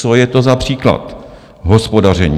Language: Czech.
Co je to za příklad hospodaření?